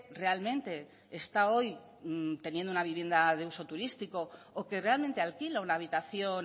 realmente está hoy teniendo una vivienda de uso turístico o que realmente alquila una habitación